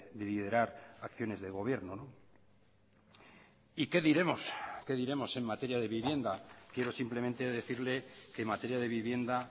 de liderar acciones de gobierno y qué diremos qué diremos en materia de vivienda quiero simplemente decirle que en materia de vivienda